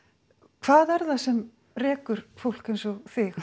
hvað er það sem rekur fólk eins og þig